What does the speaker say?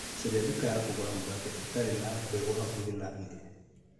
Caria nduka ya kũruga mũgate ĩtare na mbegũ hakuhĩ na niĩ .